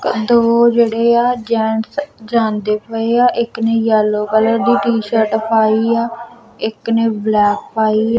ਦੋ ਜਿਹੜੇ ਆ ਜੈਂਟਸ ਜਾਂਦੇ ਪਏ ਆ ਇੱਕ ਨੇ ਯੈਲੋ ਕਲਰ ਦੀ ਟੀ-ਸ਼ਰਟ ਪਾਈ ਆ ਇੱਕ ਨੇ ਬਲੈਕ ਪਾਈ --